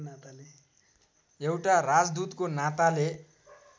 एउटा राजदूतको नाताले